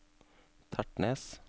Tertnes